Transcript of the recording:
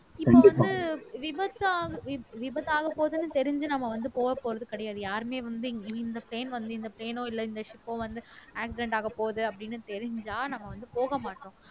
இப்போ வந்து விபத்தா வி விபத்து ஆகப்போகுதுன்னு தெரிஞ்சு நம்ம வந்து போகப் போறது கிடையாது யாருமே வந்து இந்த plane வந்து இந்த plane ஓ இல்லை இந்த ship ஓ வந்து accident ஆகப்போகுது அப்படின்னு தெரிஞ்சா நம்ம வந்து போக மாட்டோம்